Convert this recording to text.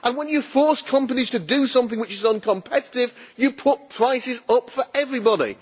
When you force companies to do something which is uncompetitive, you put prices up for everybody.